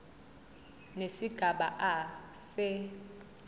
nesigaba a se